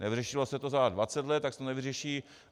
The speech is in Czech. Nevyřešilo se to za 20 let, tak se to nevyřeší.